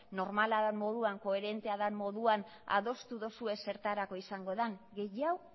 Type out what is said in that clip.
normala dan moduan koherentea dan moduan adostu dozue zertarako izango dan gehiago